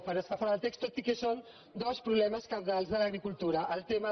per estar fora de context tot i que són dos problemes cabdals de l’agricultura el tema